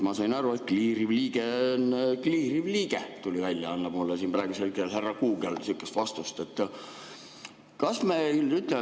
Ma sain aru, et kliiriv liige on kliiriv liige, nii tuli välja, mulle siin praegusel hetkel annab härra Google sihukese vastuse.